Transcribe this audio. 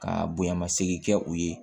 Ka bonyamasegin kɛ u ye